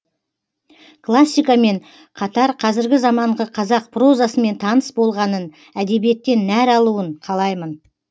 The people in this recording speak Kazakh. классика мен қатар қазіргі заманғы қазақ прозасымен таныс болғанын әдебиеттен нәр алуын қалаймын